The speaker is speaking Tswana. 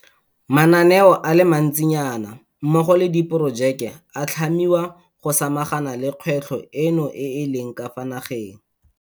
Mananeo a le mantsinyana mmogo le diporojeke a a tlhamiwa go samagana le kgwetlho eno e e leng ka fa nageng.